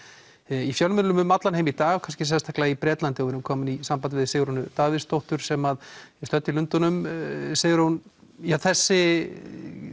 í fjölmiðlum um allan heim í dag kannski sérstaklega í Bretlandi og við erum komin í samband við Sigrúnu Davíðsdóttur sem er stödd í Lundúnum Sigrún þessi